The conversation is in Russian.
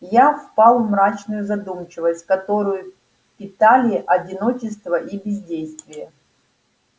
я впал в мрачную задумчивость которую питали одиночество и бездействие